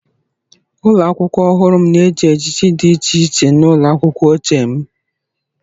Ụlọ akwụkwọ ọhụrụ m na-eji ejiji dị iche iche n'ụlọ akwụkwọ ochie m.